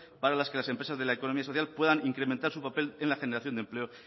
para que las empresas de la economía social puedan incrementar su papel en la generación de empleo